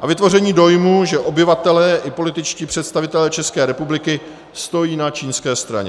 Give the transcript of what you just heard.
a vytvoření dojmu, že obyvatelé i političtí představitelé České republiky stojí na čínské straně.